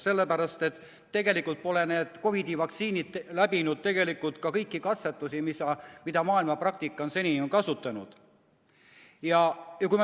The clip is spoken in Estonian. Sellepärast, et tegelikult pole COVID-i vaktsiinid läbinud kõiki katsetusi, mida maailma praktika on seni kasutanud.